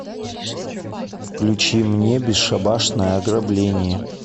включи мне бесшабашное ограбление